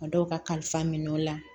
A dɔw ka kalifa minɛ o la